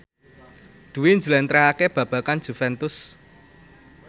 Dwi njlentrehake babagan Juventus